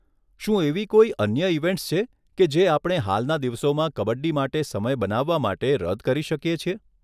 શું એવી કોઈ અન્ય ઇવેન્ટ્સ છે કે જે આપણે હાલના દિવસોમાં કબડ્ડી માટે સમય બનાવવા માટે રદ કરી શકીએ છીએ?